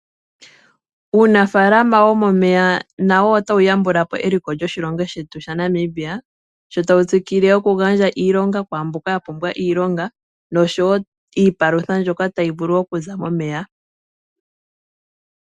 Uunafaalama womomeya nawo otawu yambulapo eliko lyoshilongo shetu. Sho tawu tsikile oku gandja iilonga kwaamboka yapumbwa iilonga nosho woo iipalutha hayi zi momeya ngaashi oohi.